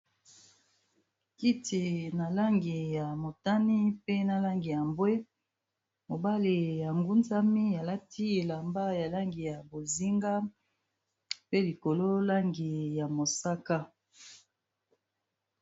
Kiti, na langi ya motani, pe na langi ya mbwe. Mobali anguzami, alati elamba ya langi ya bozinga, pe likolo langi ya mosaka.